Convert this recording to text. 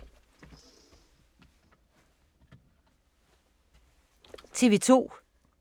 TV 2